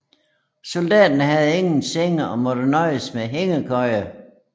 Soldaterne havde ingen senge og måtte nøjes med hængekøjer